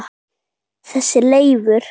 Þessi Leifur.